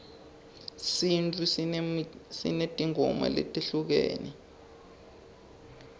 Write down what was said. sintfu sinetimgoma letehlukene